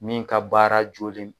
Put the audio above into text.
Min ka baara jolen